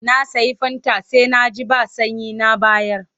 Na sayi fanta sai na ji ba sanyi na bayar.